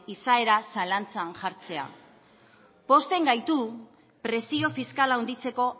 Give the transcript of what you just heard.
izaera zalantzan jartzean pozten gaitu presio fiskala handitzeko